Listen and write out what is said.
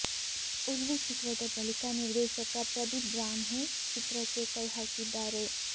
ಉರ್ವಿ ಚಿತ್ರದ ಬಳಿಕ ನಿರ್ದೇಶಕ ಪ್ರದೀಪ್ ಬ್ರಾಹ್ಮಿ ಚಿತ್ರಕ್ಕೆ ಕೈ ಹಾಕಿದ್ದಾರೆ